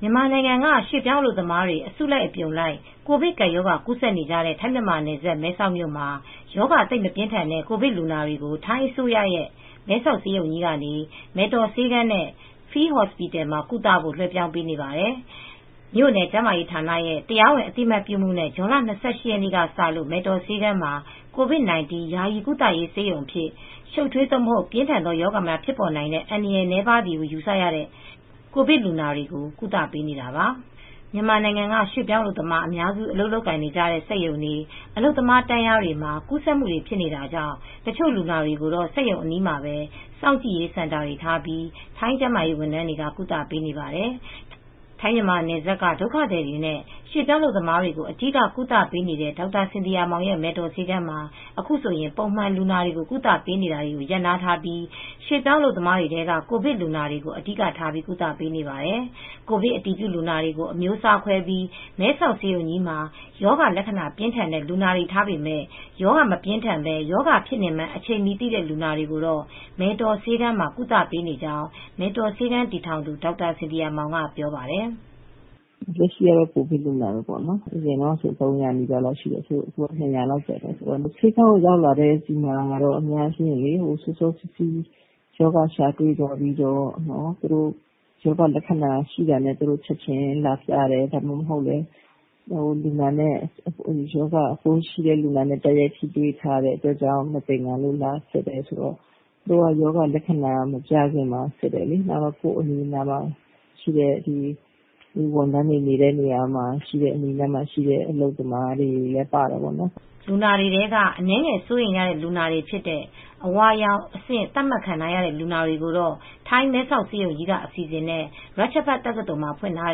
မြန်မာနိုင်ငံက ရွှေ့ပြောင်းအလုပ်သမားတွေ အစုလိုက်အပြုံလိုက် ကိုဗစ်ကပ်ရောဂါ ကူးစက်နေကြတဲ့ ထိုင်းမြန်မာနယ်စပ် မဲဆောက်မြို့မှာ ရောဂါ သိပ် မပြင်းထန်တဲ့ ကိုဗစ်လူနာတွေကို ထိုင်းအစိုးရရဲ့ မဲဆောက်ဆေးရုံကြီးကနေ မယ်တော်ဆေးခန်းနဲ့ Field Hospital မှာ ကုသဖို့ လွဲပြောင်းပေးနေပါတယ်။ မြို့နယ်ကျန်းမာရေးဌာနရဲ့ တရားဝင်အသိအမှတ်ပြုမှုနဲ့ ဇွန်လ၂၈ ရက်နေ့ကစလို့ မယ်တော်ဆေးခန်းမှာ ကိုဗစ်-၁၉ ယာယီကုသရေး ဆေးရုံအဖြစ်၊ ရှုပ်ထွေး သို့မဟုတ် ပြင်းထန်ရောဂါများဖြစ် ပေါ်နိုင်တဲ့ အန္တရာယ်နည်းပါးသည်ဟု ယူဆရတဲ့ ကိုဗစ်လူနာတွေကို ကုသပေးနေတာပါ။ မြန်မာနိုင်ငံက ရွှေ့ပြောင်းအလုပ်သမား အများစု အလုပ်လုပ်ကြတဲ့ စက်ရုံတွေ၊ အလုပ်သမား တန်းလျားတွေမှာ ကူးစက်မူတွေဖြစ်နေတာကြောင့် တချို့လူနာတွေကိုတော့ စက်ရုံအနီးမှာပဲ စောင့်ကြည့်စင်တာတွေထားပြီး ထိုင်းကျန်းမာရေးဝန်ထမ်းတွေက ကုသပေးနေပါတယ်။ ထိုင်းမြန်မာနယ်စပ်က ဒုက္ခသည်နဲ့ရွေပြောင်းအလုပ်သမားတွေကို အဓိကကုသပေးနေတဲ့ ဒေါက်တာစင်သီယာမောင်ရဲ့ မယ်တော်ဆေးခန်းမှာ အခုဆိုရင် ပုံမှန်လူနာတွေကို ကုသပေးမှုတွေကို ရပ်နားထားပြီး ရွှေ့ပြောင်းအလုပ်သမားတွေထဲက ကိုဗစ်လူနာတွေကို အဓိက ကုသပေးနေရပါတယ်။ ကိုဗစ်အတည်ပြုလူနာတွေကို အမျိုးအစားခွဲပြီး မဲဆောက်ဆေးရုံကြီးမှာ ရောဂါ လက္ခဏာပြင်းထန်တဲ့လူနာတွေထားပေမဲ့ ရောဂါ မပြင်းထန်ဘဲ ရောဂါဖြစ်နေမှန်း အချိန်မှီ သိတဲ့လူနာတွေကို မယ်တော်ဆေးခန်းမှာ ကုသပေးနေရကြောင်း မယ်တော်ဆေးခန်းတည်ထောင်သူ ဒေါက်တာစင်သီယာမောင်ကပြောပါတယ်။ "လက်ရှိကတော့ကိုဗစ်လူနာတွေပေါ့နော်အရင်ကတော့ ၃၀၀ လောက်ရှိတယ်အခုကတော့ ၂၀၀ လောက်ရှိတယ်။ ဆေးခန်းကိုရောက်လာတဲ့ လူနာတွေကတော့ အများစုက တော့ စောစောစီးစီးရောဂါရှာတွေပြီးစောစောလက္ခဏာပြကြတဲ့သူတွေတချို့ ကတော့ ရောဂါပိုးရှိတဲ့လူနာနဲ့ထိတွေ့ ပြီးတော့မသင်္ကာလို့လာစစ်ကြသူတွေ ကိုယ့်အနိးနားမှာရှိတဲ့ ဝန်ထမ်းတွေအနီးနားမှာရှိတဲ့ အလုပ်သမားတွေလည်းပါတယ် ပြောမယ်ဆိုရင်တော့စောစောစီးစိးစစ်ဆေးပြီးတော့စောစောစီးစီးကုသမူတွေ တွေလုပ်တယ်" လူနာတွေထဲက အနည်းငယ်စိုးရိမ်ရတဲ့လူနာတွေဖြစ်တဲ့ အဝါရောင့်အဆင့် သတ်မှတ်ခံထားရတဲ့လူနာတွေကိုတော့ ထိုင်းမဲဆောက်ဆေးရုံကြီးက အစီစဉ်နဲ့ ရာချ့်ဖတ်တက္ကသိုလ်မှာ ဖွင့်ထား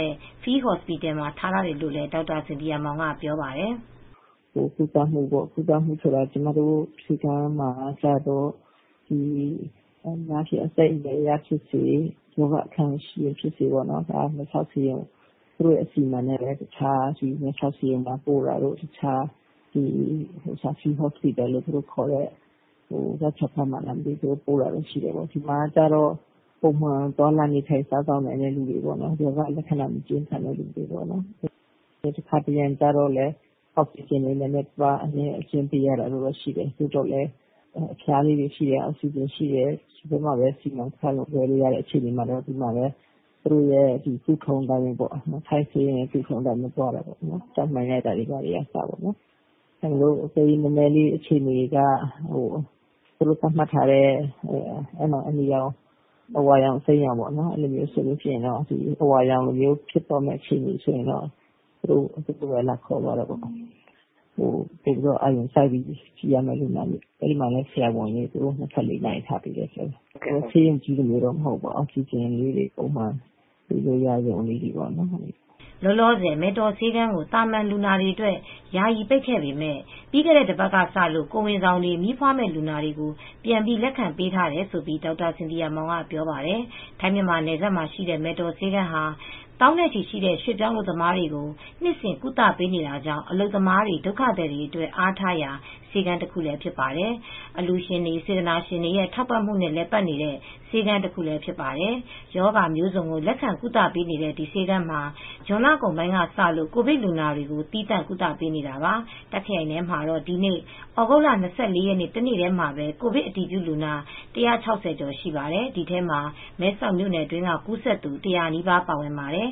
တဲ့ field Hospital မှာထားတယ်လို့လည်း ဒေါက်တာစင်သီယာမောင်က ပြောပါတယ်။ "ကုသမူဆိုတာ က အသက်အရွယ်အရဖြစ်စေ ရောဂါအခံရှိသူတွေကိုတော့ သူတို့အစီစဉ်နဲ့မဲဆောက်ဆေးရုံကိုပို့တာရှိတယ် တခြားfield Hospital လို့ခေါ်တဲ့ ရာချ်ဖတ်တက္ကသိုလ်နေရာကိုပို့တယ်။ ဒီမှာကျတော့ ပုံမှန်သွားလာနေထိုင်လို့ရတဲ့သူတွေ ရောဂါအခြေအနေ သိပ်မပြင်းထန် သိပ်မဆိုးတဲ့သူတွေ တခါတရံကျတော့ အောက်စီဂျင်ကျလို့သေရသူတွေရှိတယ် ဒီမှာတော့ အောက်စီဂျင်ရှိတယ်။ ဒီထဲမှာပဲစီမံခန့်ခွဲလို့ရတာရှိတယ်။ ထိုင်းဆေးရုံအတိုင်းပဲ ဓါတ်မှန်ရိုက်တဲ့နေရာတွေလည်းရှိတယ်။ အခြေအနေက သူတို့သတ်မှတ်ထားတဲ့အနီရောင် အဝါရောင် အစီမ်းရောင်သတ်မှတ်ထားတယ်။ အဝါရောင်အဆင့်ဆို ရင်သူတို့လာခေါ်သွားတယ် ပိုပြိး အာရုံစိုက်ကြည့်ရမယ်ဆိုတော့ အဲဒီမှာလည်းဆရာဝန်တွေ ၂၄နာရီထားပေးတယ် ဆေးရုံကြီးလိုတော့မဟုတ်ဘူးဒါပေမယ့် အောက်စီဂျင်လေးတွေပုံမှန်ရတာမျိုးပေါ့ ။" လောလောဆယ် မယ်တော်ဆေးခန်းကို သာမန်လူနာတွေအတွက် ယာယီပိတ်ပေမဲ့ ပြီးခဲ့တဲ့ တပါတ်ကစလို့ ကိုယ်ဝန်ဆောင်တွေ မီးဖွားမယ့်လူနာတွေကို ပြန်ပြီးလက်ခံပေးထားတယ်လို့ ဒေါက်တာစင်သီယာမောင်က ပြောပါတယ်။ ထိုင်းမြန်မာနယ်စပ်မှာရှိတဲ့ မယ်တော်ဆေးခန်းဟာ သောင်းနဲ့ချီရှိတဲ့ရွှေပြောင်းအလုပ်သမားတွေကို နှစ်စဉ်ကုသပေးနေတာကြောင့် အလုပ်သမားတွေ၊ ဒုက္ခသည်တွေအတွက် အားထားရာ ဆေးခန်းတခုဖြစ်ပါတယ်။ အလှူရှင်တွေ စေတနာရှင်တွေရဲ့ ထောက်ပံ့မှုနဲ့ လည်ပါတ်နေတဲ့ ဆေးခန်းတခုလည်းဖြစ်ပါတယ်။ ရောဂါမျိုးစုံကို လက်ခံကုသပေးနေတဲ့ ဒီဆေးခန်းမှာ ဇွန်လကုန်ပိုင်းထဲကစလို့ ကိုဗစ်လူနာတွေကို သီးသန့် ကုသပေးနေတာပါ။ တာခ့်ရိုင်ထဲမှာတော့ ဒီနေ့ သြဂုတ်လ ၂၄ ရက်နေ့ တနေ့တည်းမှာပဲ ကိုဗစ်အတည်ပြုလူနာ ၁၆၀ ကျော်ရှိပါတယ်။ ဒီထဲမှာ မဲဆောက်မြို့နယ်တွင်းက ကူးစက်သူ ၁၀၀ နီးပါး ပါပါတယ်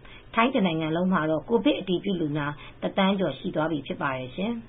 ။ ထိုင်းတနိုင်ငံလုံးမှာတော့ ကိုဗစ်အတည်ပြုလူနာ တသန်းကျော်ရှိသွားပြီဖြစ်ပါတယ်ရှင်။